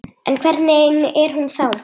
En hvernig er hún þá?